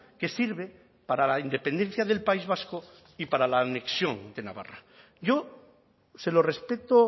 que sirve para la independencia del país vasco y para la anexión de navarra yo se lo respeto